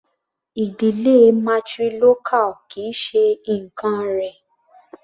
Ìdílé matrilocal kì í ṣe nǹkán rẹ̀.